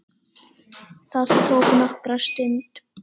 Það tók nokkra stund.